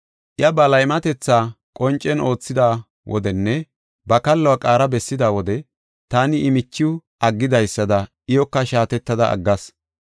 Iya ba laymatetha qoncen oothida wodenne ba kalluwa qaara bessida wode, taani I michiw aggidaysada iyoka shaatettada aggas.